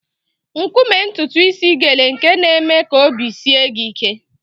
Nkume ntutu isi gele nke na-eme ka obi sie gị ike.